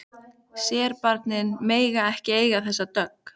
Serbarnir mega ekki eiga þessa dögg!